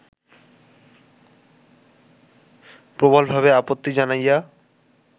প্রবলভাবে আপত্তি জানাইয়া